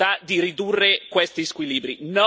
No al Fondo monetario europeo.